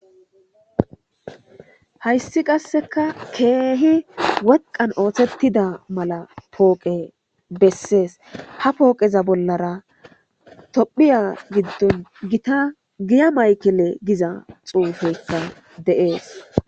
Hayssi qasseka keehi woqqan oothettida mala pooqe bessees ha pooqeza bollara tophiya giddon gita giya maykile giza xuufeyka de'ees.